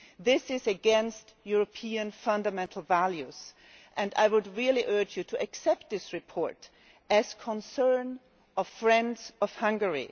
This is against European fundamental values and I would really urge you to accept this report as concern expressed by friends of Hungary.